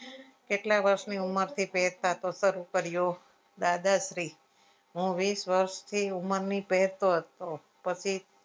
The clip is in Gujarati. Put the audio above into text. કેટલાય વર્ષની ઉમર થી પેરતા થી શરુ કર્યો દાદાશ્રી હું વીસ વર્ષથી ઉમરની પેરતો હતો પછી